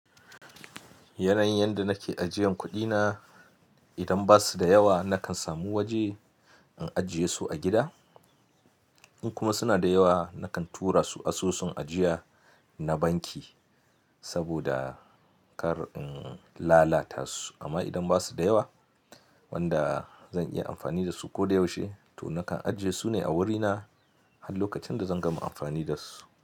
Yanan yanda nake ajiyan kuɗina, idan basuda yawa nakan samu waje in ajiyesu a gida. In kuma suna da yawa nakan tura su asusun ajiya na banki saboda kar in lalata su. Amma idan basu da yawa wanda zan iya amfani dasu koda yaushe, to nakan ajiyesu ne a wurina har lokacin da zan gama amfani dasu.